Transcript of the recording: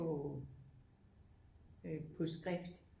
På øh på skrift